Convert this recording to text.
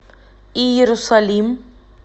иерусалим